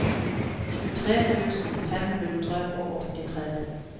tjuetre tusen fem hundre og åttitre